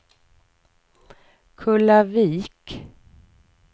Kullavik